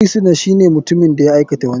Firisuna shine mutumin da ya aikata wani laifi.